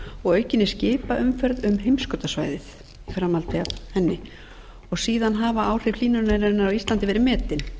og aukinni skipaumferð um heimskautasvæðið í framhaldi af henni annars hafa áhrif hlýnunarinnar á ísland verið metin